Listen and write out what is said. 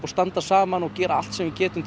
standa saman og gera allt sem við getum